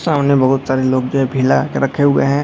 सामने बहुत सारे लोग जो है भीड़ लगा के रखे हुए हैं।